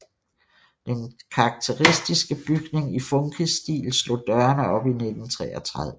Den karakteristiske bygning i funkisstil slog dørene op i 1933